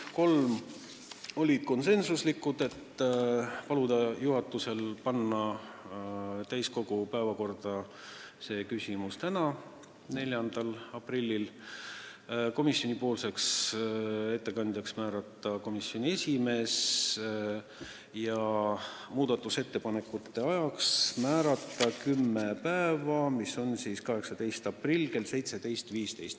Kolm võeti vastu konsensuslikult: paluda juhatusel panna see küsimus täiskogu päevakorda tänaseks, 4. aprilliks, komisjoni ettekandjaks määrati komisjoni esimees ja teha ettepanek määrata muudatusettepanekute esitamise tähtajaks kümme päeva, 18. aprill kell 17.15.